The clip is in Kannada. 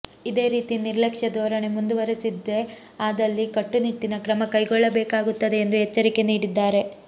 ಇದೇ ರೀತಿ ನಿರ್ಲಕ್ಷ್ಯ ಧೋರಣೆ ಮುಂದುವರಿಸಿದ್ದೆ ಆದಲ್ಲಿ ಕಟ್ಟುನಿಟ್ಟಿನ ಕ್ರಮ ಕೈಗೊಳ್ಳಬೇಕಾಗುತ್ತದೆ ಎಂದು ಎಚ್ಚರಿಕೆ ನೀಡಿದ್ದಾರೆ